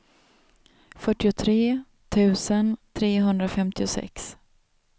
fyrtiotre tusen trehundrafemtiosex